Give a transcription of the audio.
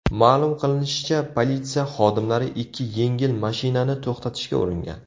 Ma’lum qilinishicha, politsiya xodimlari ikki yengil mashinani to‘xtatishga uringan.